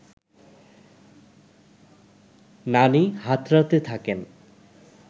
নানি হাতড়াতে থাকেন